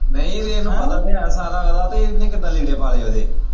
ਨਹੀਂ ਇਹਨੂੰ ਪਤਾ ਤਾਂ ਹੈ ਸਾਰਾ ਉਹਦਾ ਤੇ ਇਹਨੇ ਕਿਦਾਂ ਲੀੜੇ ਪਾ ਲਏ ਉਹਦੇ।